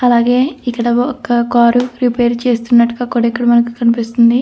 అలాగే ఇక్కడొక్క car repair చేస్తున్నట్టుగా కూడా మనకు కనిపిస్తుంది.